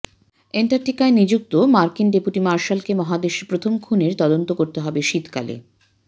এন্টার্কটিকায় নিযুক্ত মার্কিন ডেপুটি মার্শালকে মহাদেশের প্রথম খুনের তদন্ত করতে হবে শীতকালে